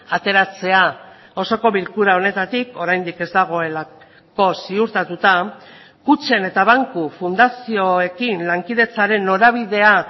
ateratzea osoko bilkura honetatik oraindik ez dagoelako ziurtatuta kutxen eta banku fundazioekin lankidetzaren norabidea